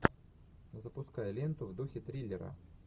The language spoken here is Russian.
запускай ленту в духе триллера